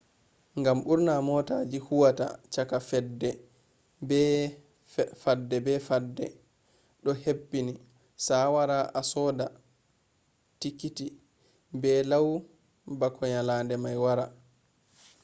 ngam ɓurna mootaji huwata cakka fadde be fadde do hebbini sawara a soda tikiti be lau bako nyalade mai wara